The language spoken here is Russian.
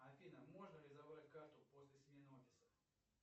афина можно ли забрать карту после смены офиса